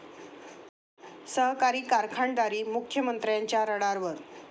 सहकारी कारखानदारी मुख्यमंत्र्यांच्या रडारवर!